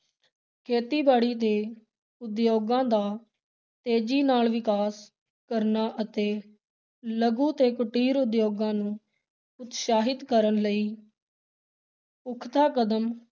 ਖੇਤੀਬਾੜੀ ਤੇ ਉਦਯੋਗਾਂ ਦਾ ਤੇਜ਼ੀ ਨਾਲ ਵਿਕਾਸ ਕਰਨਾ ਅਤੇ ਲਘੂ ਤੇ ਕੁਟੀਰ ਉਦਯੋਗਾਂ ਨੂੰ ਉਤਸ਼ਾਹਿਤ ਕਰਨ ਲਈ ਪੁਖ਼ਤਾ ਕਦਮ